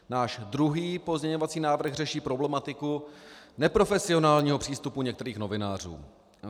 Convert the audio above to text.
Náš druhý pozměňovací návrh řeší problematiku neprofesionálního přístupu některých novinářů.